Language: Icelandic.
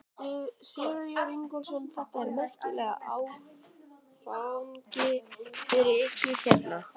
Sigurður Ingólfsson: Þetta er merkilegur áfangi fyrir ykkur hérna?